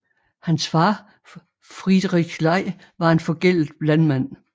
Hans far Friedrich Ley var en forgældet landmand